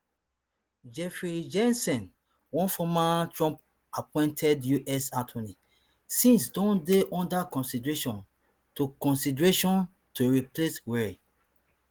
jeffrey jensen one former trumpappointed us attorney since don dey under consideration to consideration to replace wray